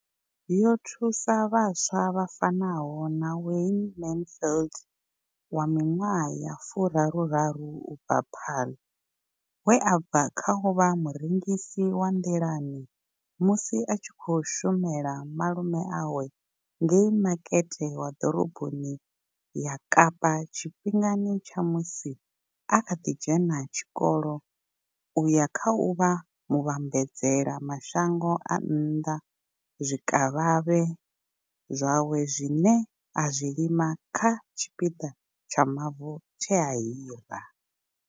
Yo thusa vhaswa vha fanaho na Wayne Mansfield, 33, u bva Paarl, we a bva kha u vha murengisi wa nḓilani musi a tshi khou shumela malume awe ngei makete wa ḓoroboni ya Kapa tshifhingani tsha musi a kha ḓi dzhena tshikolo u ya kha u vha muvhambadzela mashango a nnḓa zwikavhavhe zwawe zwine a zwi lima kha tshipiḓa tsha mavu tshe a hira.